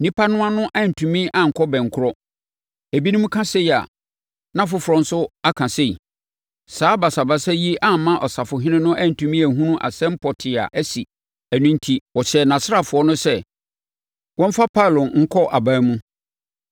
Nnipa no ano antumi ankɔ bɛnkorɔ; ebinom ka sei a, na afoforɔ nso aka sei. Saa basabasa yi amma ɔsafohene no antumi anhunu asɛm pɔtee a asi. Ɛno enti, ɔhyɛɛ nʼasraafoɔ no sɛ wɔmfa Paulo nkɔ aban mu.